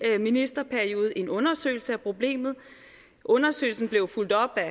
ministerperiode en undersøgelse af problemet undersøgelsen blev fulgt op af